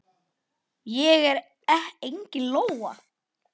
Ég er engin lóa.